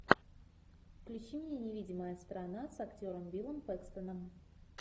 включи мне невидимая страна с актером биллом пэкстоном